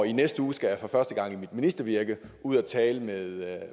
i næste uge skal jeg for første gang i mit ministervirke ud at tale med